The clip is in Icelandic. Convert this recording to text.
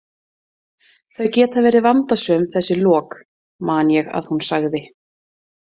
Þau geta verið vandasöm þessi lok, man ég að hún sagði.